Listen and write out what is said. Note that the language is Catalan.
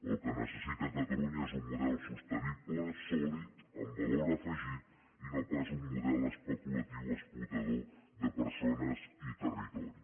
el que necessita catalunya és un model sostenible sòlid amb valor afegit i no pas un model especulatiu explotador de persones i de territori